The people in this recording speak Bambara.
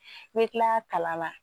N bɛ tila kalan na